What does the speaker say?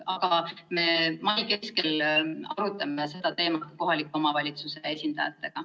Aga mai keskel me arutame seda teemat kohaliku omavalitsuse esindajatega.